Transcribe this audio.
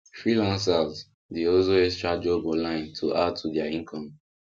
freelancers dey hustle extra job online to add to their income